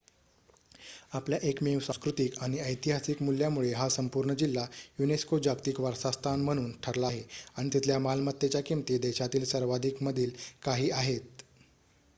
आपल्या एकमेव सांस्कृतिक आणि ऐतिहासिक मुल्यामुळे हा संपूर्ण जिल्हा युनेस्को जागतिक वारसा स्थान म्हणून ठरला आहे आणि तिथल्या मालमत्तेच्या किमती देशातील सर्वाधिक मधील काही आहेत